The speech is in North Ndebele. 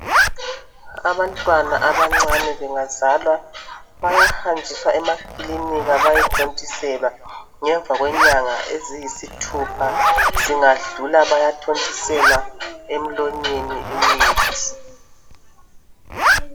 Abantwana abancane bengazalwa bayahanjiswa emakilinika bayethontiselwa. Ngemva kwenyanga eziyisithupha zingadlula bayathontiselwa emlonyeni imithi.